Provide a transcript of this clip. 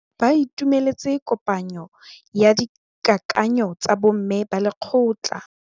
Ba itumeletse kôpanyo ya dikakanyô tsa bo mme ba lekgotla.